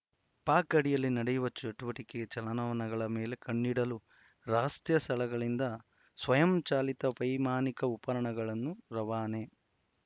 ಪಾಕ್‌ ಗಡಿಯಲ್ಲಿ ನಡೆಯುವ ಚಟುವಟಿಕೆ ಚಲನವಲನಗಳ ಮೇಲೆ ಕಣ್ಣಿಡಲು ರಸತ್ಯ ಸ್ಥಳಗಳಿಂದ ಸ್ವಯಂಚಾಲಿತ ವೈಮಾನಿಕ ಉಪಕರಣಗಳು ರವಾನೆ